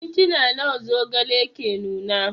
Minti nawa zogale ke nuna?